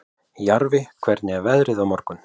Jarfi, hvernig er veðrið á morgun?